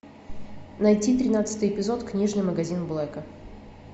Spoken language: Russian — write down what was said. найти тринадцатый эпизод книжный магазин блэка